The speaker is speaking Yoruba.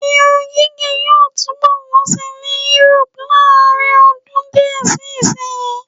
Irun gígẹ̀ yóò túnbọ̀ wọ́n síi ní Yúróòpù láàrinọdún díẹ̀ sí ìsìnyí.